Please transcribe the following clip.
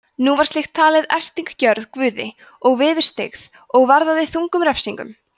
nú var slíkt talið erting gjörð guði og viðurstyggð og varðaði þungum refsingum